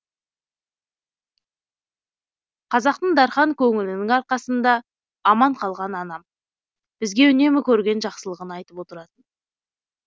қазақтың дархан көңілінің арқасында аман қалған анам бізге үнемі көрген жақсылығын айтып отыратын